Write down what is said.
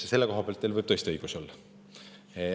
Selle koha pealt teil võib tõesti õigus olla.